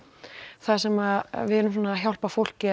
þar sem við erum að hjálpa fólki